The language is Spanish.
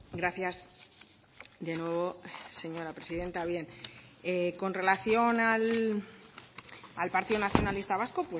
gracias de nuevo señora presidenta bien con relación al partido nacionalista vasco